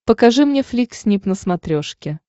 покажи мне флик снип на смотрешке